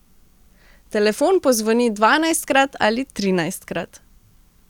Telefon pozvoni dvanajstkrat ali trinajstkrat.